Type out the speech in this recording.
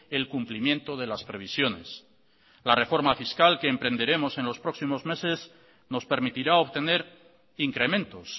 el cumplimiento de las previsiones la reforma fiscal que emprenderemos en los próximos meses nos permitirá obtener incrementos